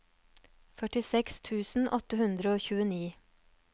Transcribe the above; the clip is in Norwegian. førtiseks tusen åtte hundre og tjueni